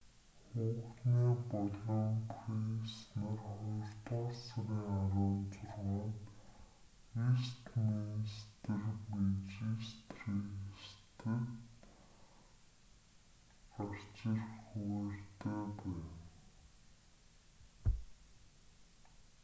хухне болон прайс нар хоёрдугаар сарын 16-нд вэстминстер мэжистрэйтест гарч ирэх хуваарьтай байна